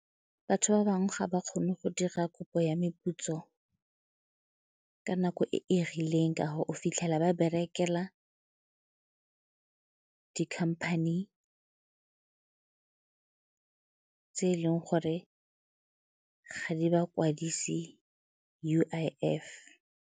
Batho ba bangwe ga ba kgone go dira kopo ya meputso ka nako e e rileng ka gore o fitlhela ba berekela dikhamphane tse e leng gore ga di bakwadise U_I_F.